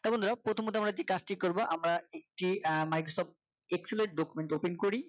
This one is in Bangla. তা বন্ধুরা প্রথমত যে কাজটি করব আমরা একটি আহ Microsoft Excel এর document open করি